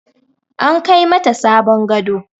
An Kai mata sabon gado.